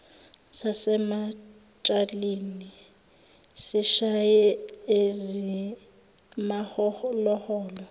sasemantshalini sishaye ezimaholoholo